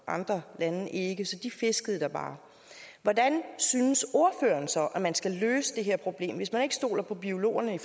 andre lande ikke så de fiskede der bare hvordan synes ordføreren så at man skal løse det her problem hvis man ikke stoler på biologerne